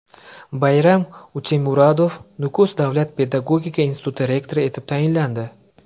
Bayram Utemuratov Nukus davlat pedagogika instituti rektori etib tayinlandi.